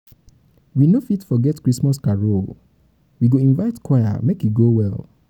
we no fit forget christmas carol we go invite choir make e go well.